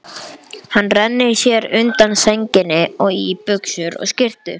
Hann rennir sér undan sænginni og í buxur og skyrtu.